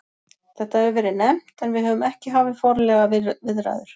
Þetta hefur verið nefnt en við höfum ekki hafið formlegar viðræður.